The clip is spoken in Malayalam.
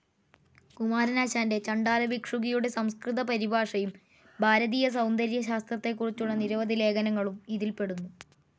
കുമാരനാശാൻ്റെ ചണ്ഡാല ഭിക്ഷുകി യുടെ സംസ്കൃത പരിഭാഷയും ഭാരതീയ സൌന്ദര്യ ശാസ്ത്രത്തെകുറിച്ചുളള നിരവധി ലേഖനങ്ങളും ഇതിൽ പെടുന്നു.